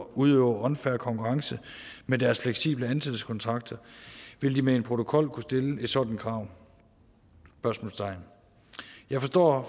udøver unfair konkurrence med deres fleksible ansættelseskontrakter vil de med en protokol kunne stille et sådant krav spørgsmålstegn jeg forstår